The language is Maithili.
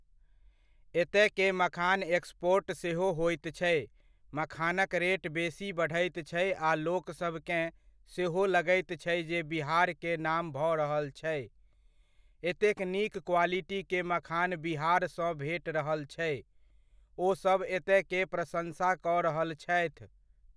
एतय के मखान एक्सपोर्ट सेहो होइत छै, मखानक रेट बेसी बढ़ैत छै आ लोकसब केँ सेहो लगैत छै जे बिहार के नाम भऽ रहल छै एतेक नीक क्वालिटी के मखान बिहार सँ भेट रहल छै, ओ सब एतयके प्रशन्सा कऽ रहल छथि।